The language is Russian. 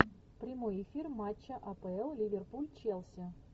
прямой эфир матча апл ливерпуль челси